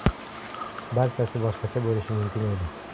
Barchasi boshqacha bo‘lishi mumkin edi.